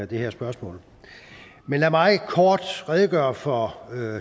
det her spørgsmål men lad mig kort redegøre for